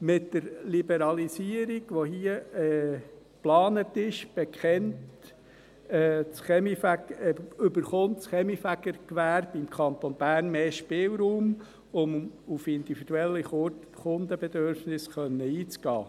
Mit der Liberalisierung, die hier geplant ist, erhält das Kaminfegergewerbe im Kanton Bern mehr Spielraum, um auf individuelle Kundenbedürfnisse eingehen zu können.